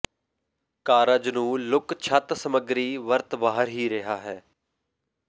ਕਾਰਜ ਨੂੰ ਲੁੱਕ ਛੱਤ ਸਮੱਗਰੀ ਵਰਤ ਬਾਹਰ ਹੀ ਰਿਹਾ ਹੈ